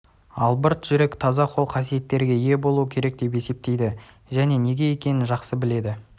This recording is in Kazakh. албырт жүрек таза қол қасиеттерге ие болуы керек деп есептейді және неге екенің жақсы біледі